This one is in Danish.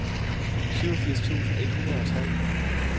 syvogfirs tusind et hundrede og tre